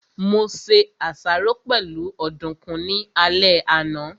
Mo se àsáró pẹ̀lú ọ̀dùkún ní alẹ́ àná